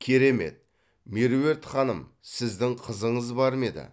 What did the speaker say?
керемет меруерт ханым сіздің қызыңыз бар ма еді